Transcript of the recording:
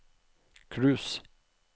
cruise